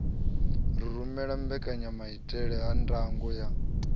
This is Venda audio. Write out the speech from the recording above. rumele mbekanyanamaitele ya ndango ya